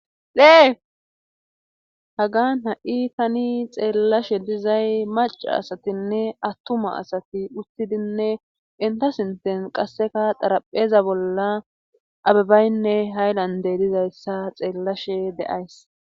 Dee hagan ha7i tani xeellashe dizay maca asatinne attuma asati uttidinne inta sinten qasseka xarapheza bolla abibaynne haylande dizayssa xeellashe de'ays.